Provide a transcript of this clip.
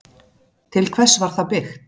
Til hvers var það byggt?